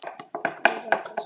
Meira af þessum toga.